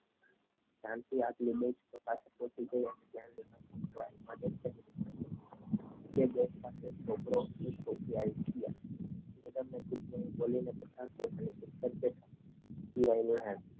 બે દિવસ પહેલા એક છોકરો અને એક છોકરી